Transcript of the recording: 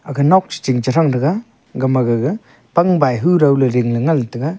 kha nokche ching che thranga gama gaga pangbai hurow ley ringley ngan taiga.